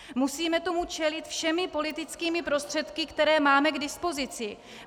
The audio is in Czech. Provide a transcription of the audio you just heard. Musíme tomu čelit všemi politickými prostředky, které máme k dispozici.